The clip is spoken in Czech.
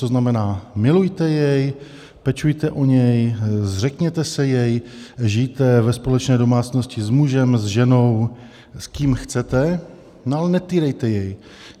To znamená, milujte jej, pečujte o něj, zřekněte se jej, žijte ve společné domácnosti s mužem, s ženou, s kým chcete, no ale netýrejte jej.